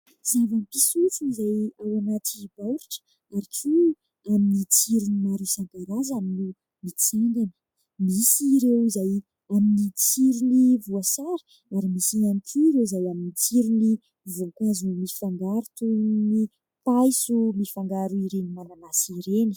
tsy eva-pisotro izay ao anaty baoritra ary koa amin'ny tsirony maro isan-karazany no mitsangana misy ireo izay amin'ny tsirony voasary ary misy ihany koa ireo izay amin'ny tsirony voankazo mifangaro toy ny paiso mifangaro ireny mananasy ireny